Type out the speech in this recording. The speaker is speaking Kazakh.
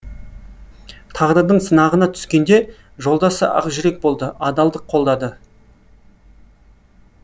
тағдырдың сынағына түскенде жолдасы ақ жүрек болды адалдық қолдады